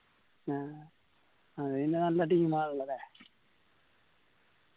ആ അത് പിന്ന നല്ല team ആണല്ലോ ല്ലേ